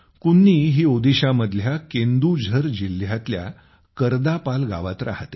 कुन्नी ही ओदीशामधल्या केंदुझर जिल्ह्यातल्या करदापाल गावात राहते